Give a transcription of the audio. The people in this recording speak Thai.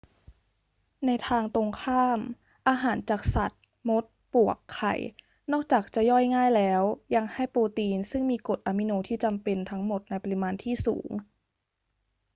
ในทางตรงข้าม อาหารจากสัตว์ มด ปลวก ไข่ นอกจากจะย่อยง่ายแล้ว ยังให้โปรตีนซึ่งมีกรดอะมิโนที่จำเป็นทั้งหมดในปริมาณที่สูง